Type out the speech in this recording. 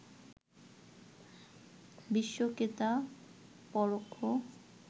বিশ্বকে তা পরোক্ষ